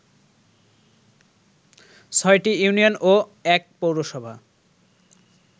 ৬টি ইউনিয়ন ও ১ পৌরসভা